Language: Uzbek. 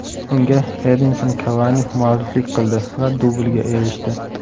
Unga Edinson Kavani mualliflik qildi va dublga erishdi.